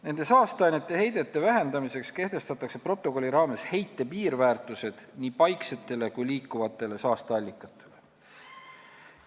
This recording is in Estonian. Nende saasteainete heidete vähendamiseks kehtestatakse protokolli raames heite piirväärtused nii paiksetele kui liikuvatele saasteallikatele.